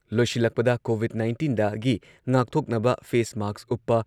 ꯂꯣꯏꯁꯤꯜꯂꯛꯄꯗ ꯀꯣꯚꯤꯗ ꯅꯥꯏꯟꯇꯤꯟꯗꯒꯤ ꯉꯥꯛꯊꯣꯛꯅꯕ ꯐꯦꯁ ꯃꯥꯛꯁ ꯎꯞꯄ,